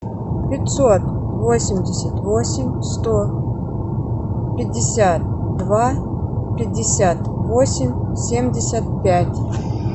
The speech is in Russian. пятьсот восемьдесят восемь сто пятьдесят два пятьдесят восемь семьдесят пять